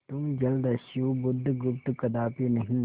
तुम जलदस्यु बुधगुप्त कदापि नहीं